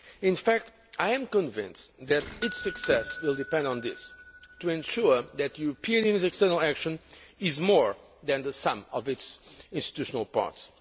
In fact, I am convinced that its success will depend on this to ensure that the European Union's external action is more than the sum of its institutional parts.